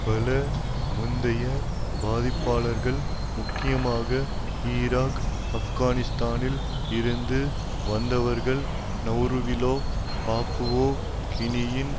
பல முந்தைய பாதிப்பாளர்கள் முக்கியமாக ஈராக் ஆப்கானிஸ்தானில் இருந்து வந்தவர்கள் நெளருவிலோ பாப்புவா கினியின்